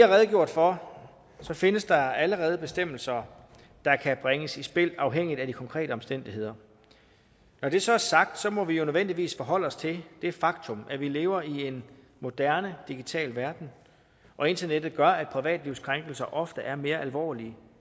har redegjort for findes der allerede bestemmelser der kan bringes i spil afhængigt af de konkrete omstændigheder når det så er sagt må vi jo nødvendigvis forholde os til det faktum at vi lever i en moderne digital verden og internettet gør at privatlivskrænkelser ofte er mere alvorlige